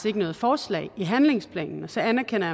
ikke noget forslag i handlingsplanen så anerkender